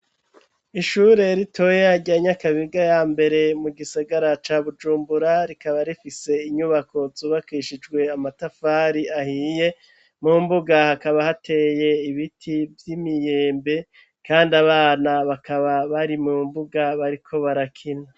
Ishure ritoya rya nyakabiga ya mbere mu gisigara ca bujumbura rikaba rifise inyubako zubakishijwe amatafari ahiye, mu mbuga hakaba hateye ibiti vy'imyembe kandi abana bakaba bari mu mbuga bariko barakina.